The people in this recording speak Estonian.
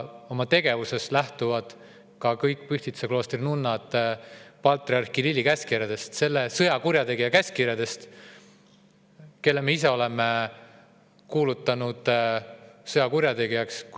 Oma tegevuses lähtuvad kõik Pühtitsa kloostri nunnad patriarh Kirilli käskkirjadest, selle sõjakurjategija käskkirjadest, kelle me ise oleme kuulutanud sõjakurjategijaks.